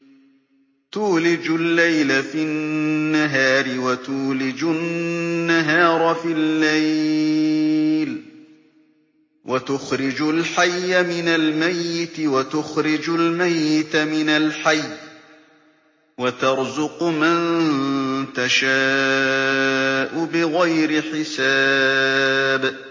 تُولِجُ اللَّيْلَ فِي النَّهَارِ وَتُولِجُ النَّهَارَ فِي اللَّيْلِ ۖ وَتُخْرِجُ الْحَيَّ مِنَ الْمَيِّتِ وَتُخْرِجُ الْمَيِّتَ مِنَ الْحَيِّ ۖ وَتَرْزُقُ مَن تَشَاءُ بِغَيْرِ حِسَابٍ